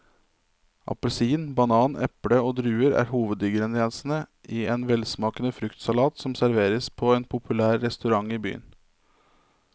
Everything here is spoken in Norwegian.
Appelsin, banan, eple og druer er hovedingredienser i en velsmakende fruktsalat som serveres på en populær restaurant i byen.